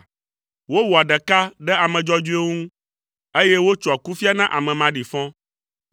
Wowɔa ɖeka ɖe ame dzɔdzɔewo ŋu, eye wotsoa kufia na ame maɖifɔ.